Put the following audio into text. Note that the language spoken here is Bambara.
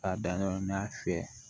K'a dan yɔrɔ min na a fɛ